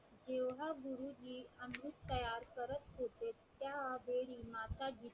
त्या वेळी मासा ची